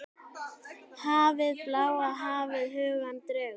Hafið, bláa hafið, hugann dregur.